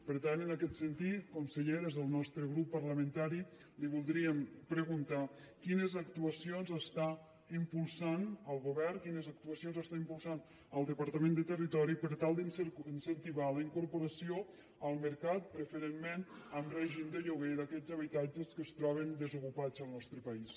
per tant en aquest sentit conseller des del nostre grup parlamentari li voldríem preguntar quines actuacions està impulsant el govern quines actuacions està impulsant el departament de territori per tal d’incentivar la incorporació al mercat preferentment en règim de lloguer d’aquests habitatges que es troben desocupats al nostre país